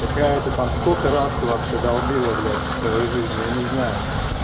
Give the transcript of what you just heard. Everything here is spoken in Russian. какая-то там сколько раз ты вообще долбила блять за свою жизнь я не знаю